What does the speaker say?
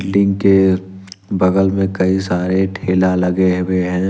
Tin के बगल में कई सारे ठेला लगे हुए हैं।